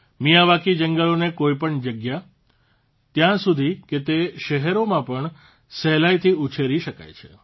Miyawaki જંગલોને કોઇપણ જગ્યા ત્યાં સુધી કે તે શહેરોમાં પણ સહેલાઇથી ઉછેરી શકાય છે